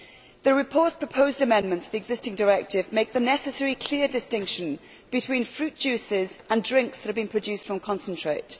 The report's proposed amendments to the existing directive make the necessary clear distinction between fruit juices and drinks that have been produced from concentrate.